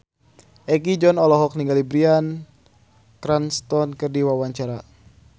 Egi John olohok ningali Bryan Cranston keur diwawancara